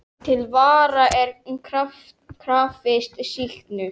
Til vara er krafist sýknu.